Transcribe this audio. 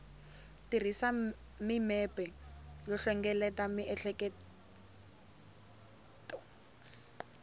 tirhisa mimepe yo hlengeleta miehleketo